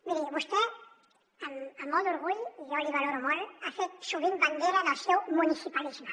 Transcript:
miri vostè amb molt d’orgull i jo l’hi valoro molt ha fet sovint bandera del seu municipalisme